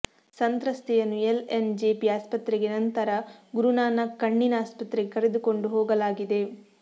ಸಂತ್ರಸ್ಥೆಯನ್ನು L N JP ಆಸ್ಪತ್ರೆಗೆ ನಂತರ ಗುರುನಾನಕ್ ಕಣ್ಣಿನ ಆಸ್ಪತ್ರೆಗೆ ಕರೆದುಕೊಂಡು ಹೋಗಲಾಗಿದೆ